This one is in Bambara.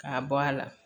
K'a bɔ a la